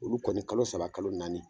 Olu kɔni kalo saba kalo naani.